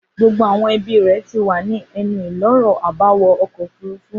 Gbogbo àwọn ẹbí rẹ̀ ti wà ní ẹnu-ìloro àbáwọ ọkọ̀ òfurufú.